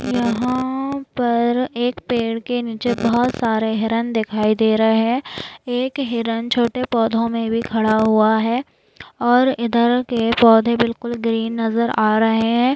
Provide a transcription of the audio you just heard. यहा पर एक पेड़ के नीचे बहुत सारे हिरण दिखाई दे रहे है। एक हिरण छोटे पौधो मे भी खड़ा हुआ है और इधर के पौधे बिलकुल ग्रीन नजर आ रहे है।